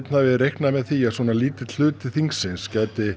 hafi reiknað með því að svo lítill hluti þings geti